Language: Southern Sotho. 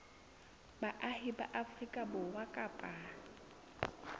baahi ba afrika borwa kapa